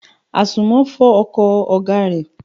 Àsùnmọ́ fọ ọkọ̀ ọ̀gá rẹ.